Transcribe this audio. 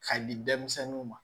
K'a di denmisɛnninw ma